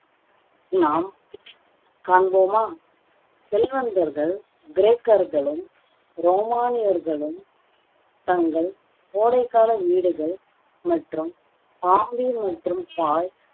நாம் காண்போமா செல்வந்தர்கள், கிரேக்கர்களும், ரோமானியர்களும் தங்கள் கோடை கால வீடுகள் மற்றும் மற்றும் பாய்